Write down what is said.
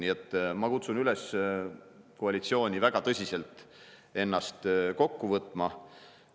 Nii et ma kutsun üles koalitsiooni väga tõsiselt ennast kokku võtma.